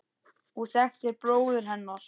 og þekktir bróður hennar.